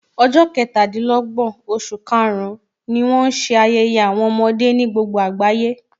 Ọjọ́ ketadinlogbon oṣù karùn-ún ni wọn ṣe ayẹyẹ àwọn ọmọdé ní gbogbo agbaye.